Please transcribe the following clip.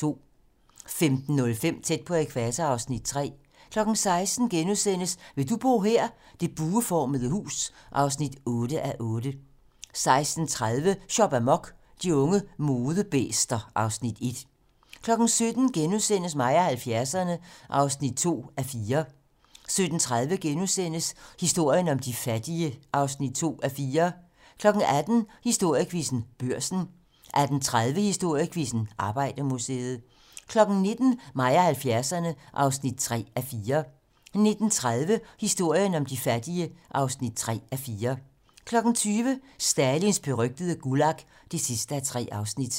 15:05: Tæt på ækvator (Afs. 3) 16:00: Vil du bo her? - Det bueformede hus (8:8)* 16:30: Shop amok - De unge modebæster (Afs. 1) 17:00: Mig og 70'erne (2:4)* 17:30: Historien om de fattige (2:4)* 18:00: Historiequizzen: Børsen 18:30: Historiequizzen: Arbejdermuseet 19:00: Mig og 70'erne (3:4) 19:30: Historien om de fattige (3:4) 20:00: Stalins berygtede Gulag (3:3)